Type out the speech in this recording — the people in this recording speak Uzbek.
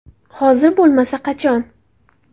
Hozir bo‘lmasa qachon?